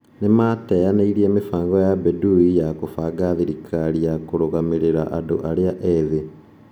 Nimateyaneirie mĩbango ya Bedoui ya kũbanga thirikari ya kũrũgamĩrĩra andũ arĩa ethĩ.